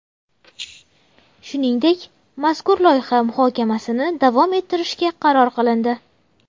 Shuningdek, mazkur loyiha muhokamasini davom ettirishga qaror qilindi.